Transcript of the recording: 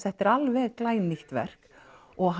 þetta er alveg glænýtt verk og